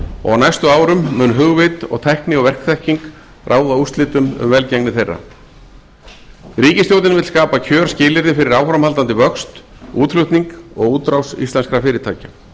og á næstu árum mun hugvit og tækni og verkþekking ráða úrslitum um velgengni þeirra ríkisstjórn vill skapa kjörskilyrði fyrir áframhaldandi vöxt útflutning og útrás íslenskra fyrirtækja